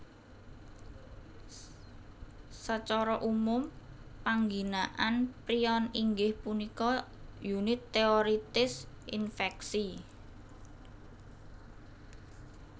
Sacara umum pangginaan prion inggih punika unit téorètis infèksi